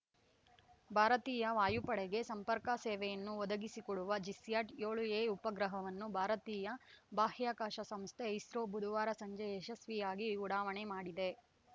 ಭಾರತೀಯ ವಾಯುಪಡೆಗೆ ಸಂಪರ್ಕ ಸೇವೆಯನ್ನು ಒದಗಿಸಿಕೊಡುವ ಜಿಸ್ಯಾಟ್‌ ಏಳು ಎ ಉಪಗ್ರಹವನ್ನು ಭಾರತೀಯ ಬಾಹ್ಯಾಕಾಶ ಸಂಸ್ಥೆ ಇಸ್ರೋ ಬುಧವಾರ ಸಂಜೆ ಯಶಸ್ವಿಯಾಗಿ ಉಡಾವಣೆ ಮಾಡಿದೆ